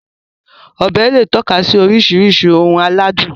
Ọbẹ̀ lè tọ́ka sí oríṣiríṣi ohun aládùn